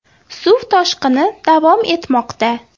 Suv toshqini davom etmoqda.